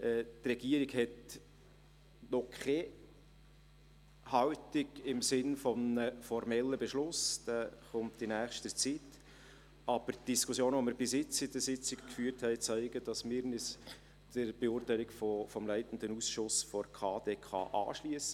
Die Regierung hat noch keine Haltung im Sinne eines formellen Beschlusses – dieser folgt in nächster Zeit –, aber die Diskussionen, die wir bis jetzt in den Sitzungen geführt haben, zeigen, dass wir uns der Beurteilung des leitenden Ausschusses der KdK anschliessen.